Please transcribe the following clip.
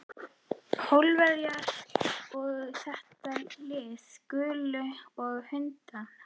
Pólverjana og þetta lið. gulu hundana.